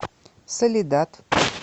соледад